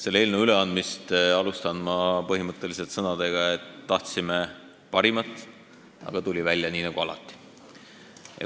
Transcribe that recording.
Selle eelnõu üleandmist alustan ma sõnadega, et tahtsime parimat, aga tuli välja nii nagu alati.